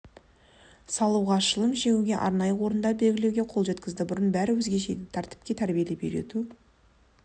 салуға шылым шегуге арнайы орындар белгілеуге қол жеткізді бұрын бәрі өзгеше еді тәртіпке тәрбиелеп үйрету